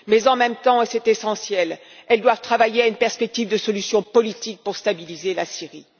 Mais, en même temps, et c'est essentiel, elles doivent travailler à une perspective de solution politique pour stabiliser la